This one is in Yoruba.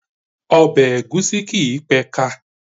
Ọbẹ̀ ègúsí kìí pé ka